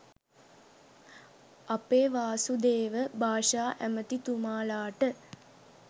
අපේ වාසුදේව භාෂා ඇමතිතුමාලට